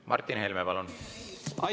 Martin Helme, palun!